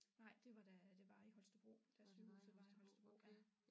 Nej det var da det var i Holstebro da sygehuset var i Holstebro ja